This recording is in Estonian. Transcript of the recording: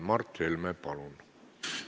Mart Helme, palun!